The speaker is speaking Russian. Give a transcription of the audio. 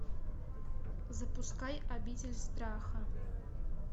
запускай обитель страха